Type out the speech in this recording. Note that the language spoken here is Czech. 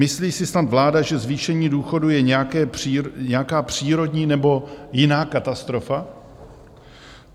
Myslí si snad vláda, že zvýšení důchodů je nějaká přírodní nebo jiná katastrofa?